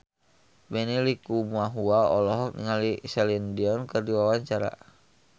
Benny Likumahua olohok ningali Celine Dion keur diwawancara